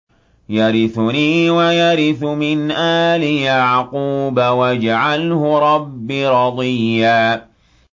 يَرِثُنِي وَيَرِثُ مِنْ آلِ يَعْقُوبَ ۖ وَاجْعَلْهُ رَبِّ رَضِيًّا